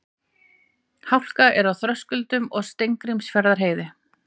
Hálka er á Þröskuldum og Steingrímsfjarðarheiði